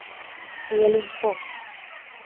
Elin Fors